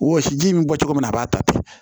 Wɔsiji in bi bɔ cogo min na a b'a ta ten